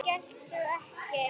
Geltir ekki.